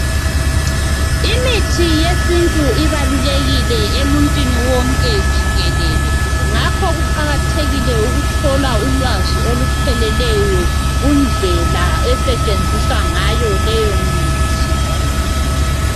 imithi yesintu ibalulekile emuntwini wonke jikelele ngakho kuqakathekile ukuthola ulwazi olupheleleyo kundlela esetshenziswa ngayo leyo mithi